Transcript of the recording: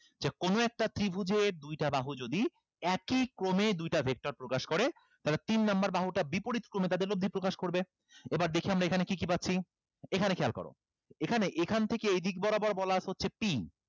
যে কোনো একটা ত্রিভুজে দুইটা বাহু যদি একই ক্রমে দুইটা vector প্রকাশ করে তাহলে তিন number বাহুটা বিপরীত ক্রমে তাদের লব্ধি প্রকাশ করবে এবার দেখি আমরা এখানে কি কি পাচ্ছি এখানে খেয়াল করো এখানে এখান থেকে এইদিক বরাবর বলা আছে হচ্ছে p